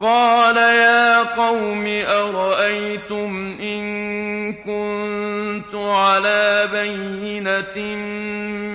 قَالَ يَا قَوْمِ أَرَأَيْتُمْ إِن كُنتُ عَلَىٰ بَيِّنَةٍ